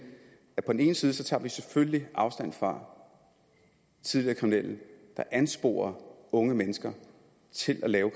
på den ene side tager vi selvfølgelig afstand fra tidligere kriminelle der ansporer unge mennesker til at